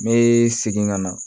Me segin ka na